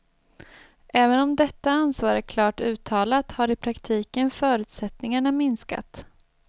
Även om dettta ansvar är klart uttalat har i praktiken förutsättningarna minskat.